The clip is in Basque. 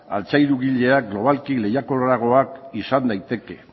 altzairugileak globalki lehiakorragoak izan daiteke